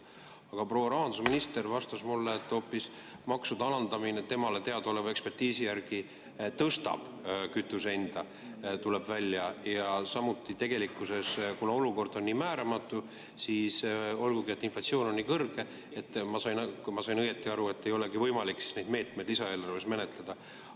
Aga proua rahandusminister vastas mulle, et maksude alandamine temale teadaoleva ekspertiisi järgi hoopis tõstab kütuse hinda, tuleb välja, ja kuna olukord on nii määramatu, ja olgugi, et inflatsioon on nii kõrge, siis kui ma õigesti aru sain, neid meetmeid ei olegi võimalik lisaeelarves menetleda.